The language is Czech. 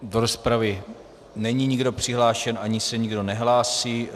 Do rozpravy není nikdo přihlášen ani se nikdo nehlásí.